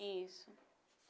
Isso.